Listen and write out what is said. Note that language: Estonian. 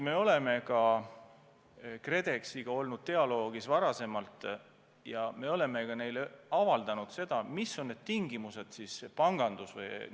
Me oleme KredExiga olnud dialoogis ka varem ja me oleme ka neile avaldanud, mis on need tingimused panganduses.